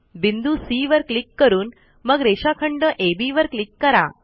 बिंदू सी वर क्लिक करून मग रेषाखंड अब वर क्लिक करा